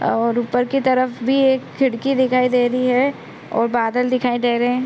और ऊपर की तरफ भी एक खिड़की दिखाई दे रही है और बादल दिखाई दे रहे।